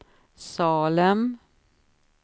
Salem